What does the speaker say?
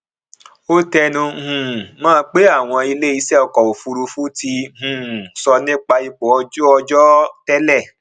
ó tẹnu um mọ pé àwọn iléiṣẹ ọkọ òfurufú ti um sọ nípa ipò ojú ọjọ tẹlẹ